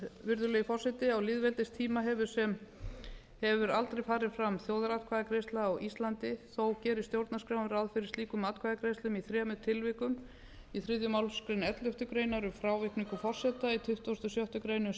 virðulegi forseti á lýðveldistíma hefur aldrei farið fram þjóðaratkvæðagreiðsla á íslandi þó gerir stjórnarskráin ráð fyrir slíkum atkvæðagreiðslum í þremur tilvikum í þriðju málsgrein elleftu greinar um frávikningu forseta í tuttugasta og sjöttu grein um